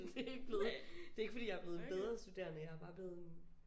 Det er ikke blevet det er ikke fordi jeg er blevet en bedre studerende jeg er bare blevet